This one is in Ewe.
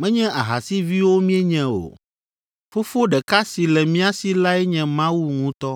menye ahasiviwo míenye o. Fofo ɖeka si le mía si lae nye Mawu ŋutɔ.”